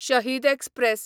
शहीद एक्सप्रॅस